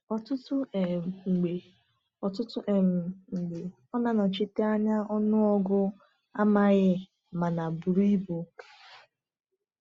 Ọtụtụ um mgbe Ọtụtụ um mgbe ọ na-anọchite anya ọnụọgụ amaghị mana buru ibu.